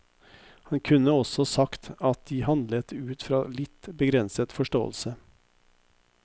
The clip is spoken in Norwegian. Han kunne også sagt at de handlet ut fra litt begrenset forståelse.